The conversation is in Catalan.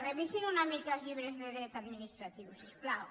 revisin una mica els llibres de dret administratiu si us plau